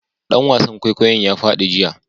Dan wasan kwaikwayon ya fadi jiya